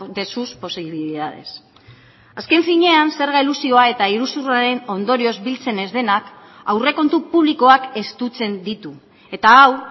de sus posibilidades azken finean zerga elusioa eta iruzurraren ondorioz biltzen ez denak aurrekontu publikoak estutzen ditu eta hau